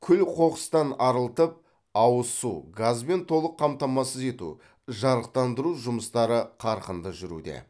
күл қоқыстан арылтып ауыз су газбен толық қамтамасыз ету жарықтандыру жұмыстары қарқынды жүруде